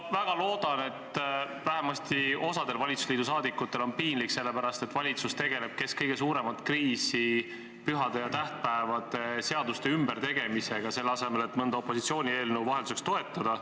Ma väga loodan, et vähemalt osal valitsusliidu liikmetel on piinlik, et valitsus tegeleb kesk kõige suuremat kriisi pühade ja tähtpäevade seaduse ümbertegemisega, selle asemel et vahelduseks mõnda opositsiooni eelnõu toetada.